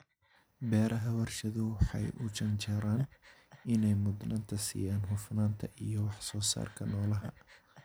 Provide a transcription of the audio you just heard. Beeraha warshaduhu waxay u janjeeraan inay mudnaanta siiyaan hufnaanta iyo wax-soosaarka noolaha.